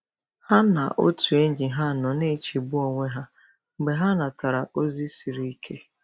Ha na otu enyi ha nọ na-echegbu onwe ha mgbe ha natara ozi siri ike.